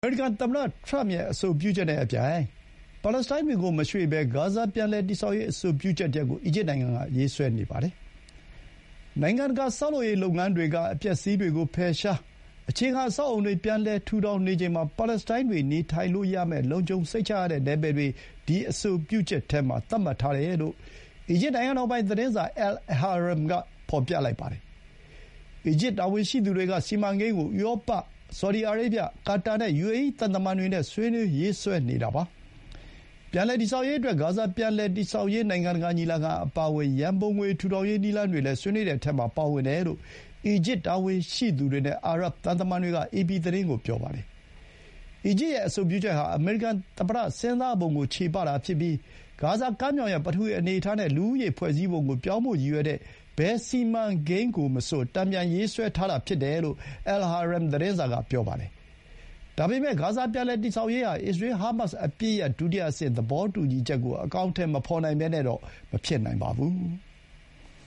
အမေရိကန်သမ္မတ ထရမ့်ရဲ့ အဆိုပြုချက်နဲ့အပြိုင် ပါလက်စတိုင်းတွေကို မရွှေ့ဘဲ ဂါဇာ ပြန်လည် တည်ဆောက်ရေး အဆိုပြုချက်တရပ်ကို အီဂျစ်နိုင်ငံက ရေးဆွဲနေပါတယ်။ နိုင်ငံတကာ ဆောက်လုပ်ရေးလုပ်ငန်းတွေက အပျက်အစီးတွေကို ဖယ်ရှား၊ အခြေခံ အဆောက် အအုံတွေ ပြန်လည် ထူထောင်နေချိန်မှာ ပါလက်စတိုင်းတွေ နေထိုင်လို့ရမယ့် လုံခြုံစိတ်ချရတဲ့ နယ်ပယ်တွေ ဒီအဆိုပြုချက်ထဲမှာ သတ်မှတ်ထားတယ်လို့ အီဂျစ် နိုင်ငံတော်ပိုင်သတင်းစာ Al-Ahram က ဖော်ပြပါတယ်။ အီဂျစ်တာဝန်ရှိသူတွေက စီမံကိန်းကို ဥရောပ၊ ဆော်ဒီအာရေဗျ၊ ကာတာနဲ့ ယူအေအီး သံတမန်တွေနဲ့ ဆွေးနွေး ရေးဆွဲနေတာပါ။ ပြန်လည်တည်ဆောက်ရေးအတွက် ဂါဇာ ပြန်လည်တည်ဆောက်ရေး နိုင်ငံတကာညီလာခံ အပါအဝင် ရန်ပုံငွေထူထောင်ရေး နည်းလမ်းတွေလည်း ဆွေးနွေးတဲ့အထဲမှာ ပါဝင်တယ်လို့ အီဂျစ်တာဝန်ရှိသူတွေနဲ့ အာရပ်သံတမန်တွေက အေပီသတင်းကို ပြောပါတယ်။ အီဂျစ်ရဲ့ အဆိုပြုချက်ဟာ အမေရိကန်သမ္မတ စဥ်းစားပုံကို ချေပတာဖြစ်ပြီး ဂါဇာကမ်းမြောင်ရဲ့ ပထဝီအနေအထားနဲ့ လူဦးရေဖွဲ့စည်းပုံကို ပြောင်းဖို့ရည်ရွယ်တဲ့ ဘယ်စီမံကိန်းကိုမဆို တန်ပြန်ရေးဆွဲထားတာ ဖြစ်တယ်လို့ Al-Ahram သတင်းစာက ဆိုပါတယ်။ ဒါပေမဲ့ ဂါဇာ ပြန်လည်တည်ဆောက်ရေးဟာ အစ္စရေးလ် ဟားမတ်စ် အပစ်ရပ် ဒုတိယအဆင့် သဘောတူညီချက်ကို အကောင်အထည်မဖော်နိုင်ဘဲနဲ့ မဖြစ်နိုင်ပါဘူး။